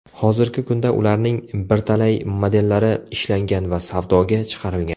Hozirgi kunda ularning birtalay modellari ishlangan va savdoga chiqarilgan.